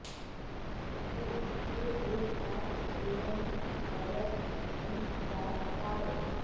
the free group of freedom riders and the travels